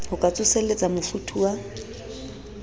ho ka tsoselletsa mofuthu wa